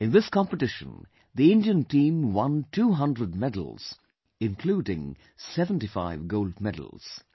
In this competition, the Indian Team won 200 medals including 75 Gold Medals